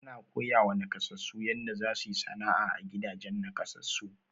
Ana koyawa nakasassu yanda za su yi sana'a, a gidajen nakasassu.